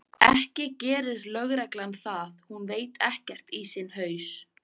Ekki gerir lögreglan það, hún veit ekkert í sinn haus.